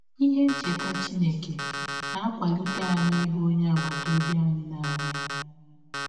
Ihe ncheta Chineke na - akwalikwa anyị ịhụ ọnye agbata ọbi anyị n’anya.